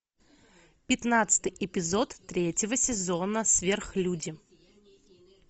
пятнадцатый эпизод третьего сезона сверхлюди